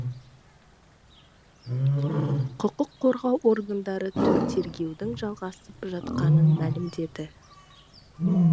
құқық қорғау органдары тергеудің жалғасып жатқанын мәлімдеді